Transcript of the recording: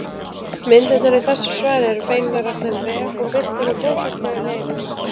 Myndirnar í þessu svari eru fengnar af þeim vef og birtar með góðfúslegu leyfi.